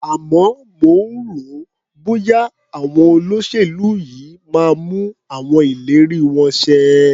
Àmọ́ mo rò ó, bọ́ya àwọn olóṣèlú yìí máa mú àwọn ìlérí wọn ṣẹ.